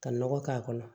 Ka nɔgɔ k'a kɔnɔ